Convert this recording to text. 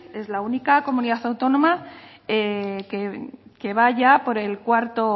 es la única comunidad autónoma que va ya por el cuarto